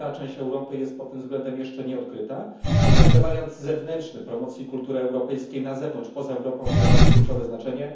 Spora część Europy jest pod tym względem jeszcze nieodkryta, ale także wariant zewnętrzny promocji kultury europejskiej na zewnątrz, poza Europą, odgrywa kluczowe znaczenie.